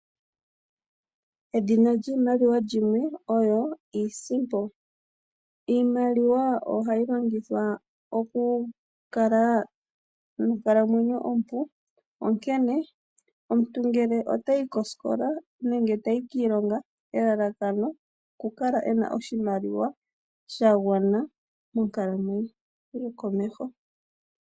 Edhina lyiimaliwa limwe oyo iisimpo. Iimaliwa ohayi longithwa okukala nonkalamwenyo ompu. Onkene omuntu ngele otayi kosikola nenge tayi kiilonga elalakano okukala ena oshimaliwa sha gwana monkalamwenyo yokomeho.